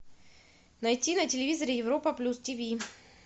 найти на телевизоре европа плюс ти ви